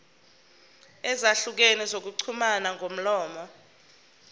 ezahlukene zokuxhumana ngomlomo